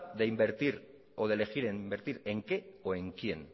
de invertir o de elegir en invertir en qué o en quién